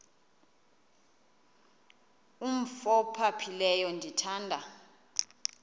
umf ophaphileyo ndithanda